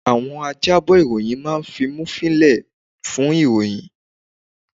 Àwọn ajábọ̀ ìròyìn máa fimúfiín lẹ̀ fún ìròyìn